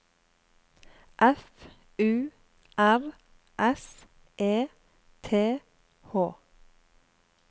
F U R S E T H